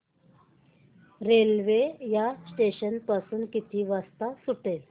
railway या station पासून किती वाजता सुटते